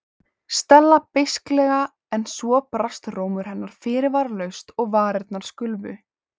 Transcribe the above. Stella beisklega en svo brast rómur hennar fyrirvaralaust og varirnar skulfu.